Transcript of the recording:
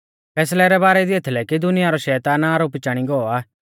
फैसलै रै बारै दी एथलै कि दुनिया रौ शैतान आरोपी चाणी गौ आ